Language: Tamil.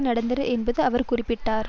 நடத்தினர் என்று அவர் குறிப்பிட்டார்